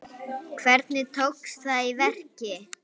Hvernig tókst það í verki?